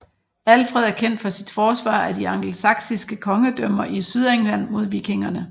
Alfred er kendt for sit forsvar af de angelsaksiske kongedømmer i Sydengland mod vikingerne